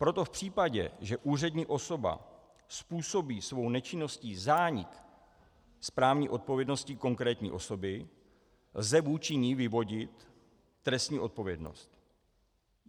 Proto v případě, že úřední osoba způsobí svou nečinností zánik správní odpovědnosti konkrétní osoby, lze vůči ní vyvodit trestní odpovědnost.